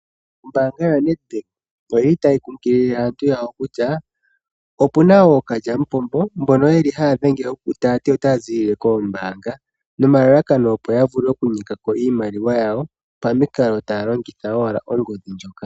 Ombaanga yoNedbank oyili tayi kunkilile aantu ya wo kutya, opuna ookalyamupombo mbono yeli haya dhenge ta ya ti, otaya zilile kombaanga nomalalakano opo ya vule okunyekako iimaliwa yawo pamukalo taya longitha owala ongodhi ndjoka.